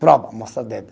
Prova, mostra dedo.